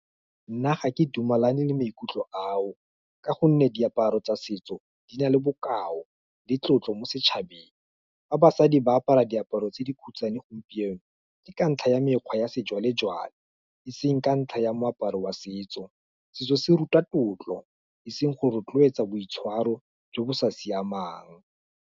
Nna ga ke dumalane le maikutlo ao, ka gonne diaparo tsa setso, di na le bokao, le tlotlo, mo setšhabeng, fa basadi ba apara diaparo tse di khutshane gompieno, ke ka ntlha ya mekgwa ya sejwalejwale, e seng ka ntlha ya moaparo wa setso, setso se ruta tlotlo, eseng go rotloetsa boitshwaro jo bo sa siamang.